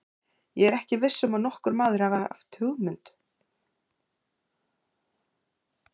Ég er ekki viss um að nokkur maður hafi hugmynd um hvert það var.